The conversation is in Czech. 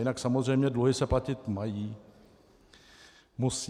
Jinak samozřejmě, dluhy se platit mají, musí.